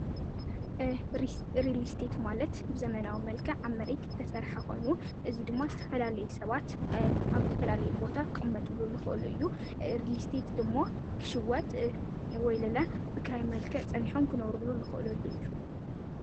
ርሊስቲት ማለት ብዘመናዊ መልካ ዓመሪክ ተሠርሐኾኑ እዙይ ድሞ ዝተፈላለይ ሰባት ኣብ ተፈላለይ ቦታ ኽመጡሉ ልኽእሉ እዩ ርሊስቲት ድሞ ክሽወጥ ወይለላ ብክራይ መልከ ጸኒሖም ክነውሩሉ ልኽእለሉ እዩ